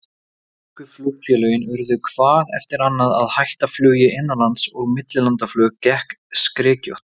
Íslensku flugfélögin urðu hvað eftir annað að hætta flugi innanlands, og millilandaflug gekk skrykkjótt.